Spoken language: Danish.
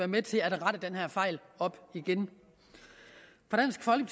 med til at rette den her fejl op igen